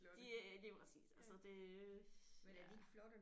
De er lige præcis altså det ja